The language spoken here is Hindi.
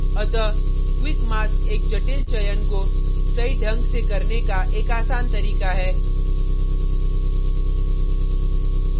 अतः quick mask एक जटिल चयन को सही ढंग से करने का एक आसान तरीका है